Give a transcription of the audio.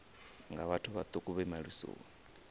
nga vhathu vhaṱuku vhe malisoni